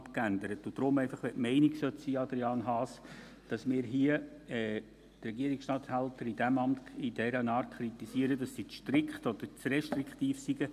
Wenn nun die Meinung vorherrschen sollte, Adrian Haas, dass wir die Regierungsstatthalterämter in dem Sinne kritisieren, dass sie zu strikt oder zu restriktiv seien: